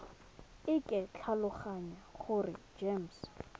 e ke tlhaloganya gore gems